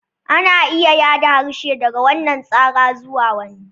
Ana iya yada harshe daga wannan tsara zuwa wani.